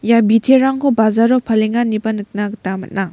ia biterangko bajaro palenga ineba nikna gita man·a.